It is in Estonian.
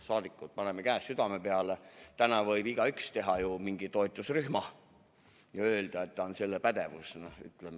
Paneme käe südame peale: täna võib igaüks teha mingi toetusrühma ja öelda, et tal on sellel alal pädevus.